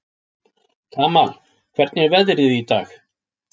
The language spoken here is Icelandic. Kamal, hvernig er veðrið í dag?